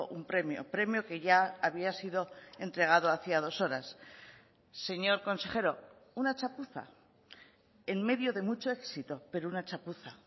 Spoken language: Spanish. un premio premio que ya había sido entregado hacía dos horas señor consejero una chapuza en medio de mucho éxito pero una chapuza